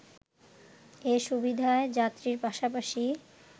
এ সুবিধায় যাত্রীর পাশাপাশি